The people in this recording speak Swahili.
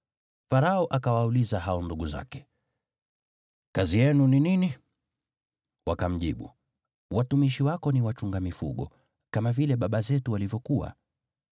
Farao akawauliza hao ndugu zake, “Kazi yenu ni nini?” Wakamjibu, “Watumishi wako ni wachunga mifugo, kama vile baba zetu walivyokuwa.”